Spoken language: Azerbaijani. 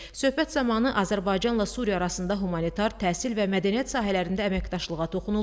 Söhbət zamanı Azərbaycanla Suriya arasında humanitar, təhsil və mədəniyyət sahələrində əməkdaşlığa toxunuldu.